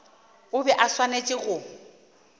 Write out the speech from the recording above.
o bego o swanetše go